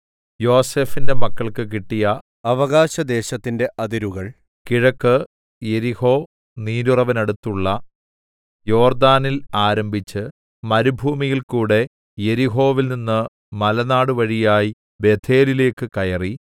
യോസേഫിന്റെ മക്കൾക്ക് കിട്ടിയ അവകാശദേശത്തിന്റെ അതിരുകൾ കിഴക്ക് യെരിഹോ നീരുറവിനടുത്തുള്ള യോർദാനിൽ ആരംഭിച്ച് മരുഭൂമിയിൽകൂടെ യെരിഹോവിൽനിന്ന് മലനാടുവഴിയായി ബേഥേലിലേക്കു കയറി